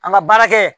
An ka baara kɛ